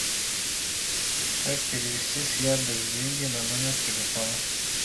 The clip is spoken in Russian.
как перевести с яндекс деньги на номер телефона